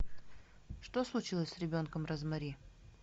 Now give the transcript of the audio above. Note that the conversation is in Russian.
что случилось с ребенком розмари